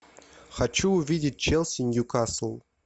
хочу увидеть челси ньюкасл